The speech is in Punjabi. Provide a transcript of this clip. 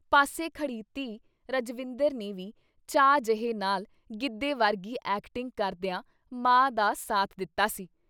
ਪਾਸੇ ਖੜ੍ਹੀ ਧੀ ਰਜਵਿੰਦਰ ਨੇ ਵੀ ਚਾਅ ਜਹੇ ਨਾਲ ਗਿੱਧੇ ਵਰਗੀ ਐਕਟਿੰਗ ਕਰਦਿਆਂ ਮਾਂ ਦਾ ਸਾਥ ਦਿੱਤਾ ਸੀ।